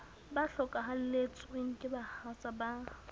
ba hlokahalletsweng ke bahatsa ba